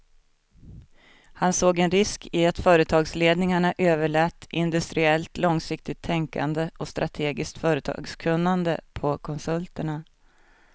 Han såg en risk i att företagsledningarna överlät industriellt långsiktigt tänkande och strategiskt företagskunnande på konsulterna.